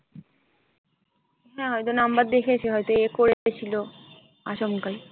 হ্যাঁ হয়তো number দেখেছে হয়তো এ করে রেখেছিলো আচমকাই।